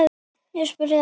spurði Andri.